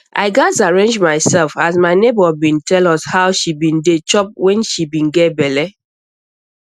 i gats arrange myself as my neighbor be tell us how she be dey chop wen she be get belle